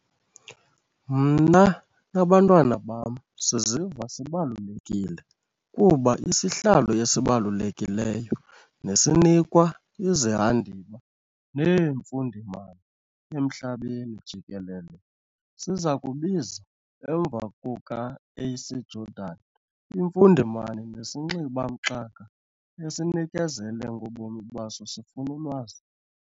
Mna nabantwana bam siziva sibalulekile kuba isihlalo esibalulekileyo nesinikwa izihandiba neemfundimani emhlabeni jikelele sizakubiza emva kuka A.C Jordan., imfundimani nesinxiba-mxaka esinikezele ngobomi baso sifuna ulwazi.